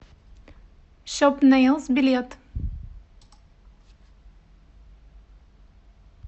шопнейлс билет